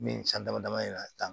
Min san dama dama in na tan